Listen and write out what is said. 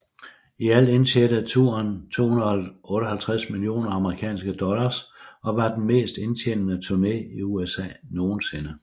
I alt indtjente turen 258 millioner amerikanske dollar og var den mest indtjenende turné i USA nogensinde